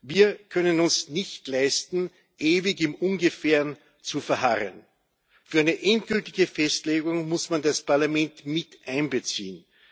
Wir können uns nicht leisten, ewig im Ungefähren zu verharren. Für eine endgültige Festlegung muss man das Parlament miteinbeziehen.